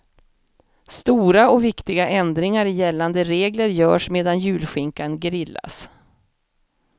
Stora och viktiga ändringar i gällande regler görs medan julskinkan grillas.